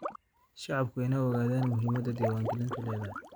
Shacabku waa in ay ogaadaan muhiimadda diwaangelintu leedahay.